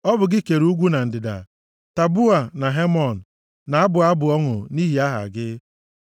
Ọ bụ gị kere ugwu na ndịda; Taboa na Hemon na-abụ abụ ọṅụ nʼihi aha gị.